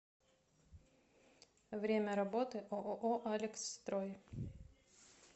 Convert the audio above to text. время работы ооо алексстрой